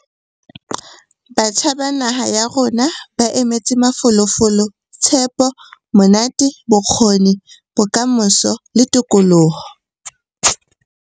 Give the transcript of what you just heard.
Batjha ba naha ya rona ba emetse mafolofolo, tshepo, monate, bokgoni, bokamoso le tokoloho.